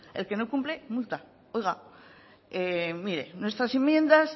el que no cumple multa oiga mire nuestras enmiendas